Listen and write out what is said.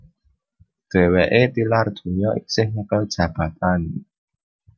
Dhèwèké tilar donya isih nyekel jabatan